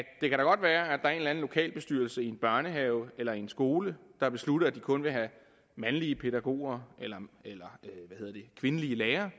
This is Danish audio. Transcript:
der er en lokal bestyrelse i en børnehave eller i en skole der beslutter at de kun vil have mandlige pædagoger eller kvindelige lærere